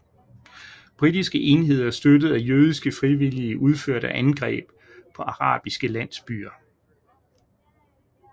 Britiske enheder støttet af jødiske frivillige udførte angreb på arabiske landsbyer